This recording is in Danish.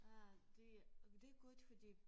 Øh det det godt fordi